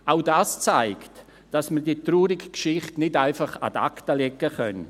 Auch das zeigt, dass wir diese traurige Geschichte nicht einfach ad acta legen können.